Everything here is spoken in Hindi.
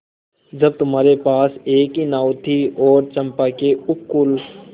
जब तुम्हारे पास एक ही नाव थी और चंपा के उपकूल